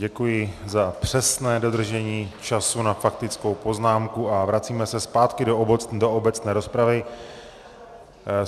Děkuji za přesné dodržení času na faktickou poznámku a vracíme se zpátky do obecné rozpravy.